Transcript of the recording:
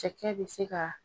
Cɛkɛ bɛ se ka